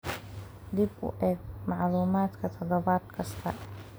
Dib u eeg macluumaadka toddobaad kasta.